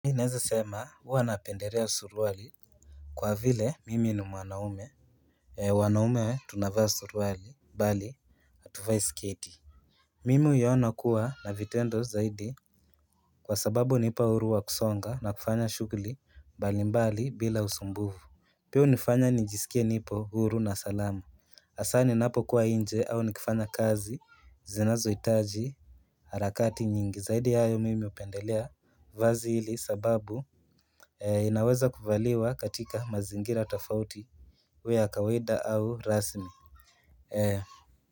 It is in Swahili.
Mi nezasema huwa napendelea suruali. Kwa vile mimi ni mwanaume wanaume tunavaa suruali bali hatuvai sketi. Mimi huiona kuwa na vitendo zaidi. Kwa sababu hunipa huru wa kusonga na kufanya shughli balimbali bila usumbufu. Pia unifanya nijisikie nipo huru na salama asa ninapokuwa inje au nikifanya kazi zinazoitaji harakati nyingi zaidi hayo mimi upendelea. Vazi hili sababu inaweza kuvaliwa katika mazingira tafauti iwe ya kawaida au rasmi.